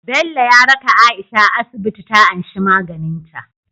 Bello ya raka aisha asibiti ta anshi maganin ta